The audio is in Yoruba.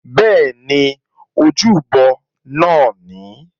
Bẹ́ẹ̀ni, ojúbọ náà nìí